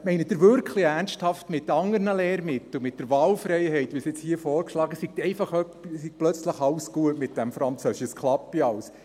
Meinen Sie wirklich ernsthaft, mit anderen Lehrmitteln, mit der Wahlfreiheit, wie jetzt hier vorgeschlagen wird, sei plötzlich alles gut mit diesem Französisch, und es klappe alles?